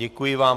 Děkuji vám.